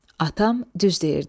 Atam düz deyirdi.